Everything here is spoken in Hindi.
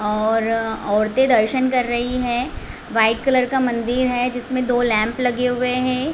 और औरते दर्शन कर रही है वाइट कलर का मंदिर है जिसमे दो लैंप लगे हुए है।